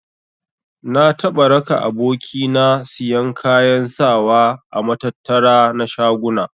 Na taɓa raka aboki na siyan kayan sawa a matattara na shaguna.